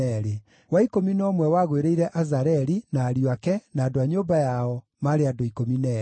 wa ikũmi na ũmwe wagũĩrĩire Azareli, na ariũ ake, na andũ a nyũmba yao, maarĩ andũ 12;